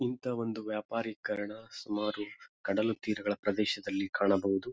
ಇಂತ ಒಂದು ವ್ಯಾಪಾರೀಕರಣ ಸುಮಾರು ಕಡಲು ತೀರಗಳ ಪ್ರದೇಶದಲ್ಲಿ ಕಾಣಬಹುದು.